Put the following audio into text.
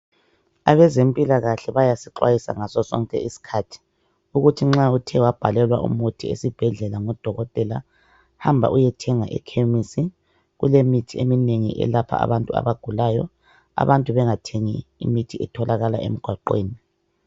Abezempilakahle bayasixwayisa ngaso sonke isikhathi ukuthi nxa uthe wabhalelwa umuthi esibhedlela ngudokotela hamaba uyethenga ekhemesi kulemithi eminengi elapha abantu abagulayo abantu bengathengi imithi etholakala emgwaqweni.